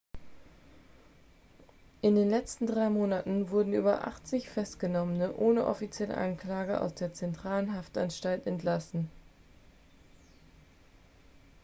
in den letzten drei monaten wurden über 80 festgenommene ohne offizielle anklage aus der zentralen haftanstalt entlassen